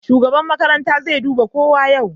Shugaban makarantar zai duba kowa yau.